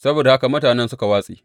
Saboda haka mutanen suka watse.